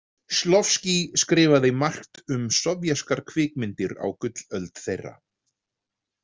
Shklovskíj skrifaði margt um sovéskar kvikmyndir á gullöld þeirra.